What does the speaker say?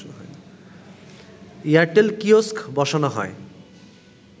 Airtel kiosk বসানো হয়